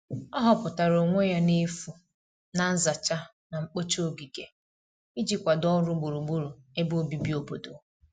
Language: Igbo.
ọ huputara onwe ya n'efu na nzacha na mgbocha ogige iji kwado ọrụ gburugburu ebe obibi obodo